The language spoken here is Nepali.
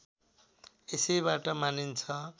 यसैबाट मानिन्छ